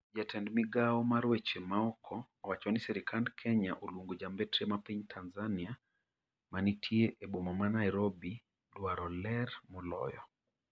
jatend migawo mar weche maoko owacho ni sirikand Kenya oluongo jambetre ma piny Tanzania ma nitie a boma ma Nairobi dwaro ler moloyo